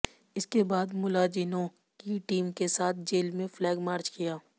इसके बाद मुलाजिनों की टीम के साथ जेल में फ्लैग मार्च किया